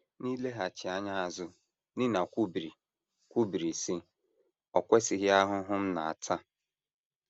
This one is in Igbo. N’ileghachi anya azụ, Nina kwubiri, kwubiri, sị: “ O kwesịghị ahụhụ m na - ata!